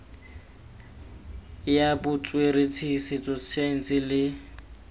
ya botsweretshi setso saense le